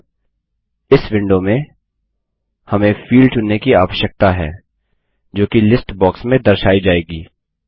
अब इस विंडो में हमें फील्ड चुनने की आवश्यकता है जोकि लिस्ट बॉक्स में दर्शाई जाएगी